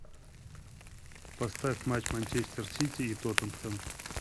поставь матч манчестер сити и тоттенхэм